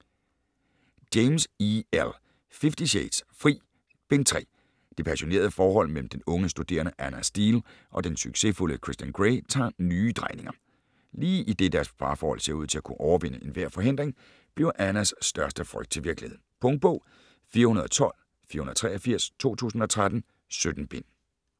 James, E. L.: Fifty shades: Fri: Bind 3 Det passionerede forhold mellem den unge studerende Ana Steele og den succesfulde Christian Grey tager nye drejninger. Lige idet deres forhold ser ud til at kunne overvinde enhver forhindring, bliver Anas største frygt til virkelighed. Punktbog 412483 2013. 17 bind.